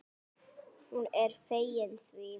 Hún er fegin því.